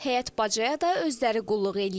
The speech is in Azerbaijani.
Həyət-bacaya da özləri qulluq eləyir.